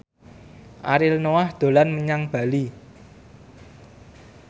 Ariel Noah dolan menyang Bali